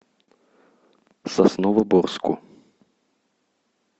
сосновоборску